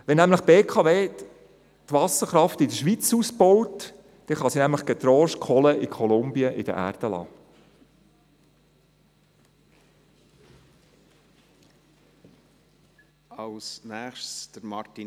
Wenn nämlich die BKW die Wasserkraft in der Schweiz ausbaut, kann sie getrost die Kohle in Kolumbien in der Erde lassen.